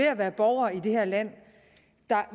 at være borgere i det her land